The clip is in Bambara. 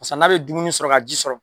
Basa n'a be dumuni sɔrɔ ka ji sɔrɔ